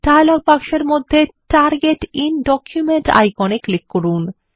dialogue বক্সের মধ্যে target IN document icon এ ক্লিক করুন